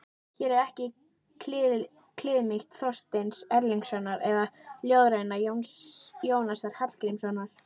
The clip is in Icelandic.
Hér er ekki kliðmýkt Þorsteins Erlingssonar eða ljóðræna Jónasar Hallgrímssonar.